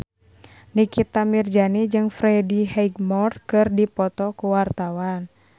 Nikita Mirzani jeung Freddie Highmore keur dipoto ku wartawan